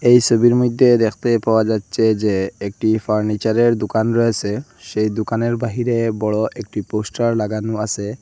এই সবির মইধ্যে দেখতে পাওয়া যাচ্ছে যে একটি ফার্নিচারের দোকান রয়েসে সেই দোকানের বাহিরে বড় একটি পোস্টার লাগানো আসে।